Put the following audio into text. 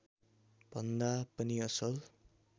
भन्दा पनि असल